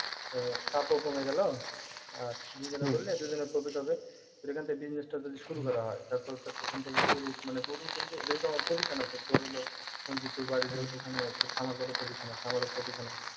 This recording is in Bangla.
আহ চাপ ও কমে গেল আর দুইজনা করলে দুইজনের profit হবে তোর এখান থেকে business টা যদি শুরু করা হয় তারপরে তো এখান থেকে গরুর মানে গরুর কিন্তু যেহেতু আমার position আছে তোর হল বাড়ির ও ~ওখানে তোর খামার গরুর position আছে আমারও position আছে